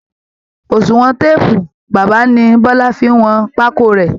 Òṣùwọn téèpù bàbá ni bọ́lá fi ń wọn pákó rẹ̀